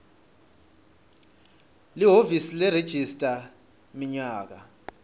lihhovisi leregistrar minyaka